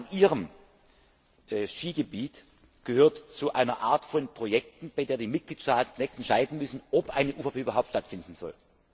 Der Sachverhalt in Ihrem Skigebiet gehört zu einer Art von Projekten, bei der die Mitgliedstaaten längst entscheiden müssen, ob eine UVP überhaupt stattfinden soll.